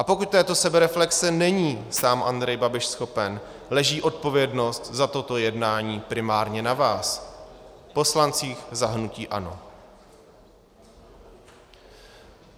A pokud této sebereflexe není sám Andrej Babiš schopen, leží odpovědnost za toto jednání primárně na vás, poslancích za hnutí ANO.